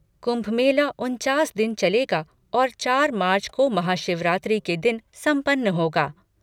कुंभ मेला उनचास दिन चलेगा और चार मार्च को महाशिवरात्रि के दिन संपन्न होगा।